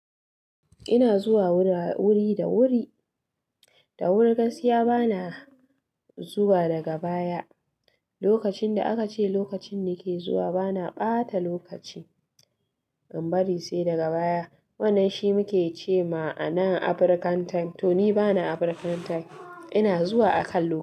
Ina zuwa wuri da wuri, da wuri gaskiya bana zuwa daga baya. Lokacin da aka ce lokacin nake zuwa bana ɓata lokaci, in bari sai daga baya. Wannan shi muke cema ma'ana African time to ni bana African time. Ina zuwa akan lokaci.